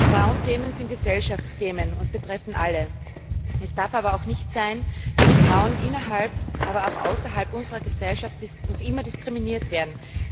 Frauenthemen sind Gesellschaftsthemen und betreffen alle. Es darf aber auch nicht sein, dass Frauen innerhalb, aber auch außerhalb unserer Gesellschaft noch immer diskriminiert werden.